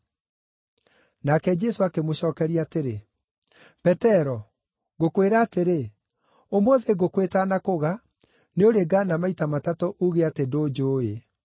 Nake Jesũ akĩmũcookeria atĩrĩ, “Petero, ngũkwĩra atĩrĩ, ũmũthĩ ngũkũ ĩtanakũga, nĩũrĩngaana maita matatũ uuge atĩ ndũnjũũĩ.”